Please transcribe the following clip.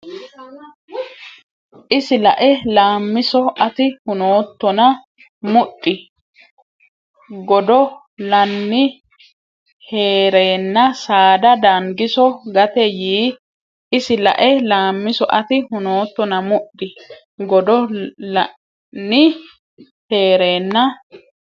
Isi lae Laammiso ati hunoottona mudhi godo lanni hee reenna saada Dangiso gate yii Isi lae Laammiso ati hunoottona mudhi godo lanni hee reenna.